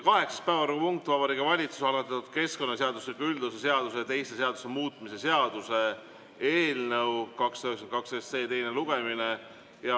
Kaheksas päevakorrapunkt on Vabariigi Valitsuse algatatud keskkonnaseadustiku üldosa seaduse ja teiste seaduste muutmise seaduse eelnõu 292 teine lugemine.